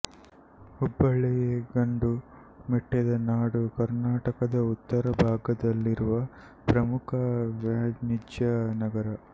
ಹುಬ್ಬಳ್ಳಿಗಂಡು ಮೆಟ್ಟಿದ ನಾಡು ಕರ್ನಾಟಕದ ಉತ್ತರ ಭಾಗದಲ್ಲಿರುವ ಪ್ರಮುಖ ವಾಣಿಜ್ಯ ನಗರ